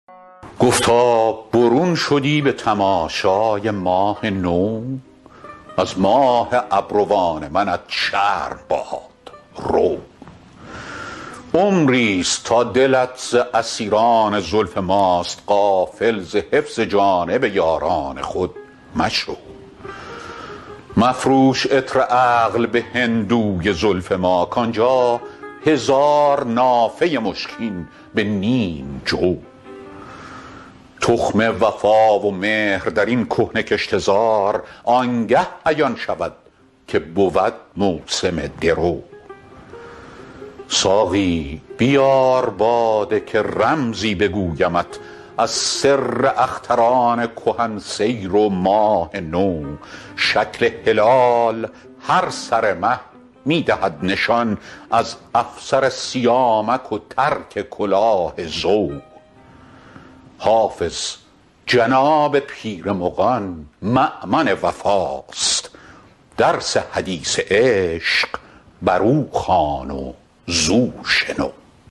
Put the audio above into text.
گفتا برون شدی به تماشای ماه نو از ماه ابروان منت شرم باد رو عمری ست تا دلت ز اسیران زلف ماست غافل ز حفظ جانب یاران خود مشو مفروش عطر عقل به هندوی زلف ما کان جا هزار نافه مشکین به نیم جو تخم وفا و مهر در این کهنه کشته زار آن گه عیان شود که بود موسم درو ساقی بیار باده که رمزی بگویمت از سر اختران کهن سیر و ماه نو شکل هلال هر سر مه می دهد نشان از افسر سیامک و ترک کلاه زو حافظ جناب پیر مغان مأمن وفاست درس حدیث عشق بر او خوان و زو شنو